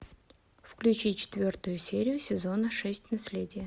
включи четвертую серию сезона шесть наследие